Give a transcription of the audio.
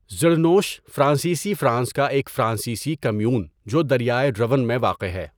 ظڑنوش فرانسیسی فرانس کا ایک فرانسیسی کمیون جو دریائے رون میں واقع ہے.